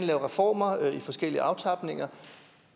lave reformer i forskellige aftapninger